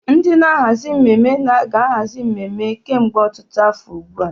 Ndị na-ahazi mmemme na-ahazi emume kemgbe ọtụtụ afọ ugbu a.